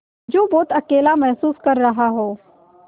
जो बहुत अकेला महसूस कर रहा हो